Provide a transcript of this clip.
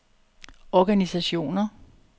organisationer